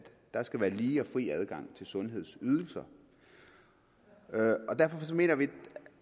der skal være lige og fri adgang til sundhedsydelser derfor mener vi